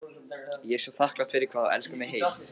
Ég er svo þakklát fyrir hvað þú elskar mig heitt.